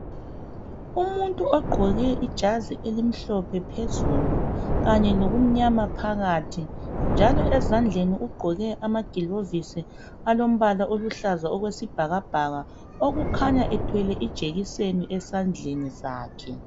Umuntu oqgoke ijazi elimhlophe phezulu kanye lokumnyama phakathi, njalo ezandleni uqgoke amagilovisi alombala oluhlaza okwesibhakabhaka okukhanay a ethwele ijekiseni esandleni sakhe.